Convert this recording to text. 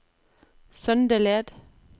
Søndeled